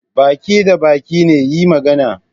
Ba ki da baki ne? yi magana